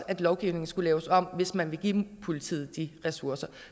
at lovgivningen skulle laves om hvis man ville give politiet de ressourcer